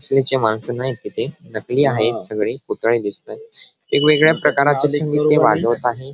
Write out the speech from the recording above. तिथे नकली आहेत सगळे पुतळे दिसत आहे वेगवेगळे प्रकाराचे संगीत ते वाजवत आहेत.